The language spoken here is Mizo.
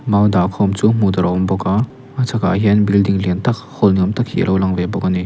mau dah khawm chu hmuh tur a awm bawk a a chhakah hian building lian tak hall ni awm hi a lo lang ve bawk a ni.